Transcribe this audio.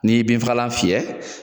N'i ye bin fagalan fiyɛ